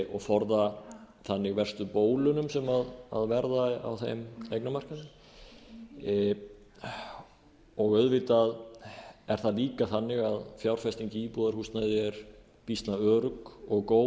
og forða þannig verstu bólunum sem verða á þeim eignamarkaði auðvitað er það líka þannig að fjárfesting í íbúðarhúsnæði er býsna örugg og góð